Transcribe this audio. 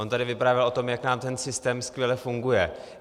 On tady vyprávěl o tom, jak nám ten systém skvěle funguje.